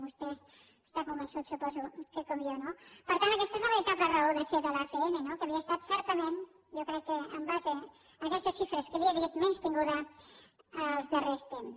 vostè n’està convençut ho suposo crec com jo no per tant aquesta és la veritable raó de ser de l’acn que havia estat certament jo crec que en base a aquestes xifres que li he dit menystinguda als darrers temps